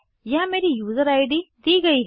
यहाँ मेरी user ID दी गयी है